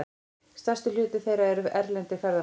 Stærstur hluti þeirra eru erlendir ferðamenn.